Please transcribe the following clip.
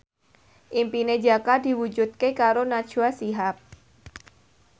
impine Jaka diwujudke karo Najwa Shihab